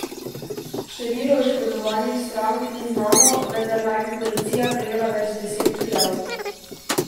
Število oškodovanih strank ni znano, vendar naj bi policija prejela več deset prijav.